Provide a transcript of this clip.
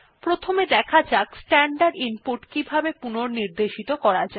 প্রথমে দেখা যাক স্ট্যান্ডার্ড ইনপুট কিভাবে পুনঃনির্দেশিত করা যায়